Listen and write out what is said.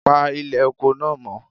Pa ilè oko náà mọ́